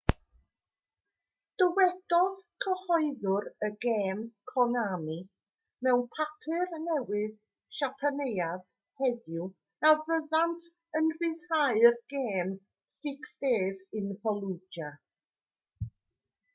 dywedodd cyhoeddwr y gêm konami mewn papur newydd siapaneaidd heddiw na fyddant yn rhyddhau'r gêm six days in fallujah